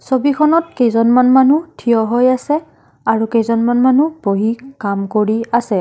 ছবিখনত কেইজনমান মানুহ থিয় হৈ আছে আৰু কেইজনমান মানুহ বহি কাম কৰি আছে।